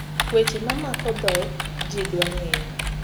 weche ma mako dhok ji dwa ngeyo